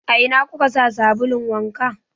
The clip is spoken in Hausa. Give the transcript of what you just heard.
A ina kuka sa sabulun wanka?